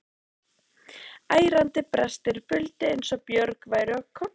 Ærandi brestir buldu eins og björg væru að klofna.